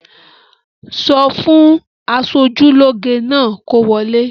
Sọ fún aṣojúlóge náà kó wọlé!